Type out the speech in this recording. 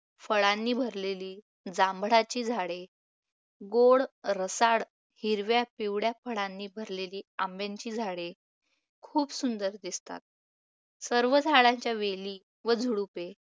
फळांनी भरलेली जांभळाची झाडे, गोड रसाळ हिरव्या-पिवळ्या फळांनी भरलेली आंब्याची झाडे खूप सुंदर दिसतात. सर्व झाडाच्या वेली व झुडुपे